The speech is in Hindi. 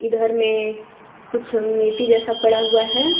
इधर में कुछ मिट्टी जैसा पड़ा हुआ है।